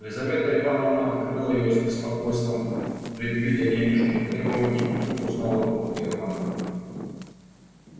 лизавета ивановна открыла её с беспокойством предвидя денежные требования и вдруг узнала руку германна